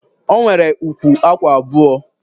O nwere ukwu akwa abụọ